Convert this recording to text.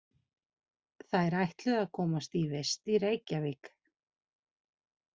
Þær ætluðu að komast í vist í Reykjavík.